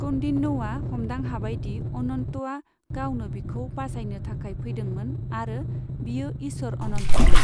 कौन्डिन्यआ हमदां हाबाय दि अनन्तआ गावनो बिखौ बासायनो थाखाय फैदोंमोन आरो बियो इसोर अनन्तमोन।